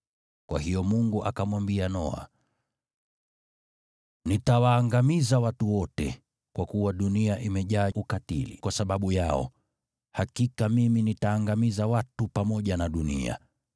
Kwa hiyo Mungu akamwambia Noa, “Nitawaangamiza watu wote, kwa kuwa dunia imejaa ukatili kwa sababu yao. Hakika mimi nitaangamiza watu pamoja na dunia.